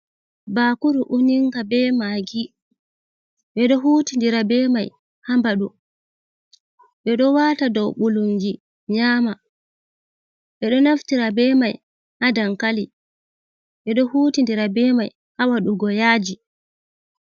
Bakuru uninga be maagi ɓeɗo huti dira be mai ha baɗu ɓeɗo wata dow ɓulunji nyama, ɓe ɗo naftira be mai ha dankali ɓeɗo huti dira be mai ha waɗugo yaaji.